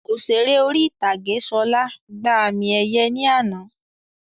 Òṣèré orí ìtàgé Ṣọlá gbà àmì ẹ̀yẹ ní àná